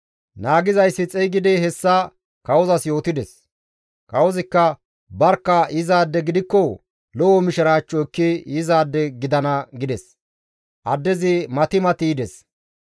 Naagizayssi xeygidi hessa kawozas yootides; Kawozikka, «Barkka yizaade gidikko lo7o mishiraachcho ekki yizaade gidana» gides; addezi mati mati yides.